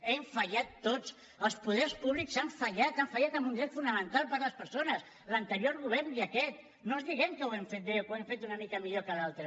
hem fallat tots els poders públics han fallat han fallat en un dret fonamental per a les persones l’anterior govern i aquest no ens diguem que ho hem fet bé o que ho hem fet una mica millor que l’altre